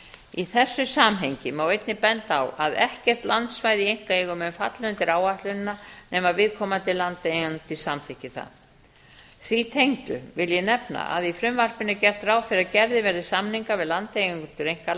í þessu samhengi má einnig benda á að ekkert landsvæði í einkaeigu mun falla undir áætlunina nema viðkomandi landeigandi samþykki það því tengdu vil ég nefna að í frumvarpinu er gert ráð fyrir að gerðir verði samningar við landeigendur